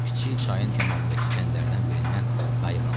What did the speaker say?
Kiçik çayın kənarındakı kəndlərdən birindən qayıq aldı.